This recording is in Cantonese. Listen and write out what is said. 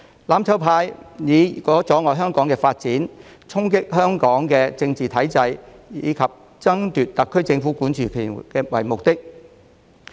"攬炒派"以阻礙香港發展、衝擊香港的政治體制，以及爭奪特區政府管治權為目的。